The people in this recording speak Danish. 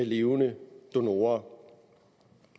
levende donorer